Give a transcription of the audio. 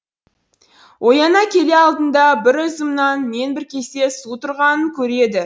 ояна келе алдында бір үзім нан мен бір кесе су тұрғанын көреді